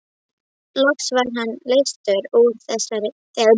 Loks var hann leystur úr þeirri prísund.